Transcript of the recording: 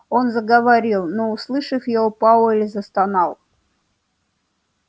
он заговорил но услышав его пауэлл застонал